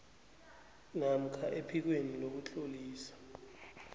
namkha ephikweni lokutlolisa